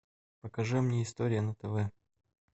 покажи мне история на тв